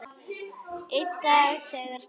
Einn dag þegar Stóri